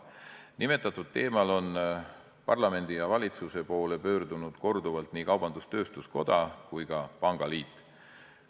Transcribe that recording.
Nimetatud teemal on parlamendi ja valitsuse poole pöördunud korduvalt nii kaubandus-tööstuskoda kui ka pangaliit.